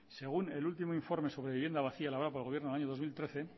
según el último informe sobre vivienda vacía elaborado por el gobierno el año dos mil trece